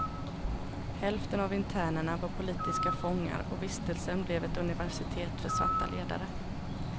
Hälften av internerna var politiska fångar och vistelsen blev ett universitet för svarta ledare.